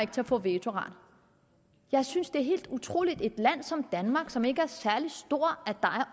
til at få vetoret jeg synes det er helt utroligt i et land som danmark som ikke er særlig stort er